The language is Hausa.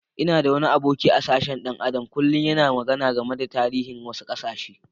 N'na da wani aboki a'sashen dan Adam kullum yana magana game da tarihin wasu kasashe.